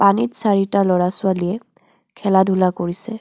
পানীত চাৰিটা ল'ৰা ছোৱালীয়ে খেলা-ধূলা কৰিছে।